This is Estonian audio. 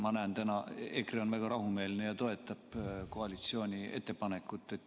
Ma näen, et EKRE on täna väga rahumeelne ja toetab koalitsiooni ettepanekut.